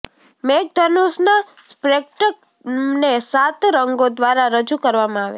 મેઘધનુષના સ્પેક્ટ્રમને સાત રંગો દ્વારા રજૂ કરવામાં આવે છે